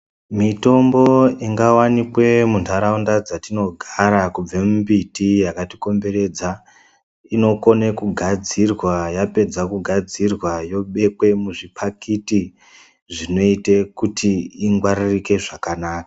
Mitombo ingavanikwe mundaraunda dzatinogara nembiti akatikomberedza inokone kugadzirwa yapedza kugadzirwa yobekwe muzvipakiti zvinoite kuti ingwaririke zvakanaka.